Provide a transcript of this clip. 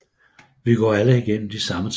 Vi går alle igennem de samme ting